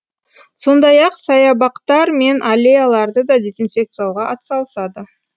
сондай ақ саябақтар мен аллеяларды да дезинфекциялауға атсалысады